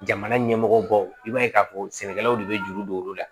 Jamana ɲɛmɔgɔ baw i b'a ye k'a fɔ sɛnɛkɛlaw de bɛ juru don olu la